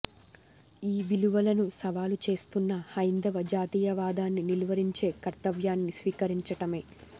ఈ విలువలను సవాలు చేస్తున్న హైందవ జాతీయవాదాన్ని నిలువరించే కర్తవ్యాన్ని స్వీకరించటమే